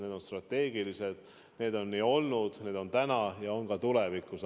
Need on strateegilised suhted, nii on olnud, nii on täna ja on ka tulevikus.